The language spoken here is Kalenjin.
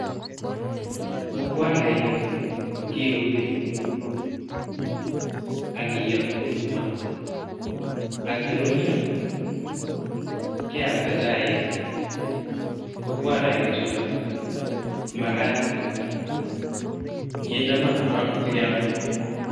Mukwarainik, kiuni, ak kiyoo eng' maa. Ang' ya rurio, keamda chaik, mukwarainik chutok. Ko magat kinde maa koron sikeame.